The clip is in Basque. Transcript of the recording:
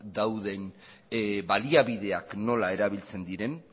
dauden baliabideak nola erabiltzen diren